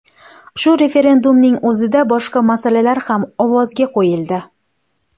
Shu referendumning o‘zida boshqa masalalar ham ovozga qo‘yildi.